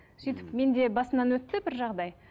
сөйтіп мен де басымнан өтті бір жағдай